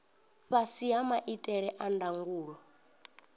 fhasi ha maitele a ndangulo